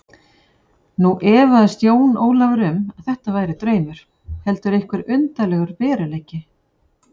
Nú efaðist Jón Ólafur um að þetta væri draumur heldur einhver undarlegur veruleiki.